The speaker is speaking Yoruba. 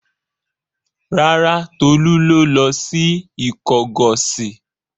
Rárá, Tolú ló lọ sí Ìkọgọ̀sì.